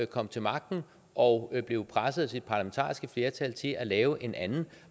kom til magten og blev presset af sit parlamentariske flertal til at lave en anden